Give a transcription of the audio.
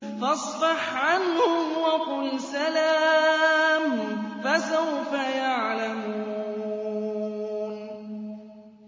فَاصْفَحْ عَنْهُمْ وَقُلْ سَلَامٌ ۚ فَسَوْفَ يَعْلَمُونَ